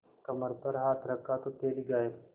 कमर पर हाथ रखा तो थैली गायब